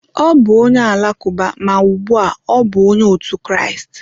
Ọ bụ onye Alakụba, ma ugbu a ọ bụ Onye otu Kraịst.